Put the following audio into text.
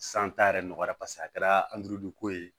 t'a yɛrɛ nɔgɔya paseke a kɛra ko ye